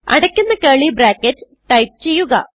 അടയ്ക്കുന്ന curly bracket type ചെയ്യുക